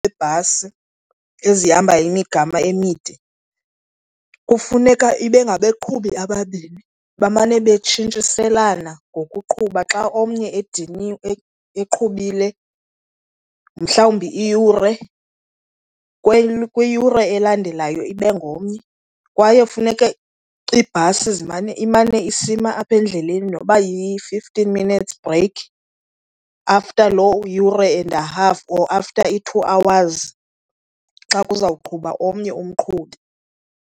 Iibhasi ezihamba imigama emide kufuneka ibe ngabaqhubi ababini bamane betshintshiselana ngokuqhuba. Xa omnye ediniwe eqhubile mhlawumbi iyure, kwiyure elandelayo ibe ngomnye. Kwaye funeke iibhasi zimane, imane isima apha endleleni noba yi-fifteen minutes break after loo yure and half or after i-two hours xa kuzawuqhuba omnye umqhubi.